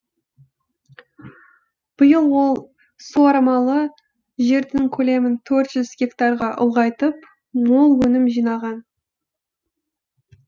биыл ол суармалы жердің көлемін төрт жүз гектарға ұлғайтып мол өнім жинаған